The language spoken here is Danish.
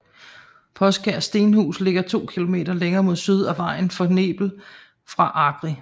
Poskær Stenhus ligger to kilometer længere mod syd ad vejen til Knebel fra Agri